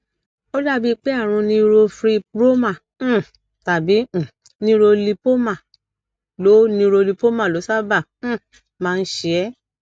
ó dàbí pé àrùn neurofibroma um tàbí um neurolipoma ló neurolipoma ló sábà um máa ń ṣe ẹ